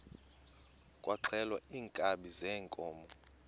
kwaxhelwa iinkabi zeenkomo